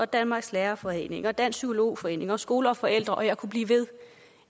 danmarks lærerforening dansk psykolog forening og skole og forældre og jeg kunne blive ved